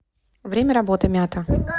время работы мята